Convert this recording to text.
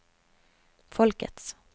folkets